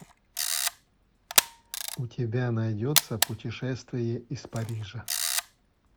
у тебя найдется путешествие из парижа